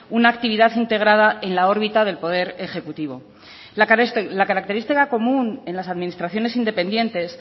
una actividad integrada en la órbita del poder ejecutivo la característica común en las administraciones independientes